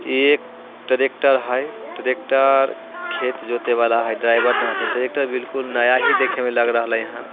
ये एक ट्रैक्टर है ट्रैक्टर खेत जोते वाला है ड्राईवर न हथीन ट्रैक्टर बिलकुल नया ही देखे में लग रहलई ह।